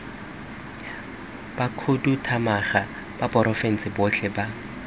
bakhuduthamaga ba porofense botlhe ba